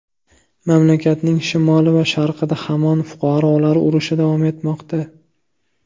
Mamlakatning shimoli va sharqida hamon fuqarolar urushi davom etmoqda.